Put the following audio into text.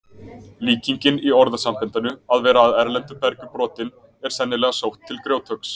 Líkingin í orðasambandinu að vera af erlendu bergi brotinn er sennilega sótt til grjóthöggs.